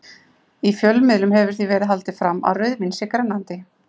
Í fjölmiðlum hefur því verið haldið fram að rauðvín sé grennandi.